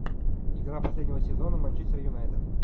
игра последнего сезона манчестер юнайтед